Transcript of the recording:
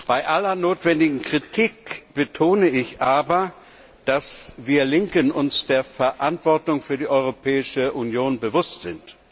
Bei aller notwendigen Kritik betone ich aber, dass wir Linken uns der Verantwortung für die Europäische Union bewusst sind.